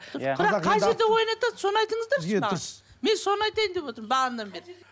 бірақ қай жерде ойнатады соны айтыңыздаршы маған мен соны айтайын деп отырмын бағанадан бері